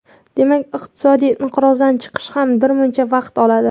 Demak, iqtisodiy inqirozdan chiqish ham birmuncha vaqt oladi.